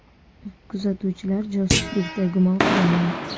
Kuzatuvchilar josuslikda gumon qilingan.